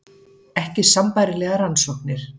Ekki sambærilegar rannsóknir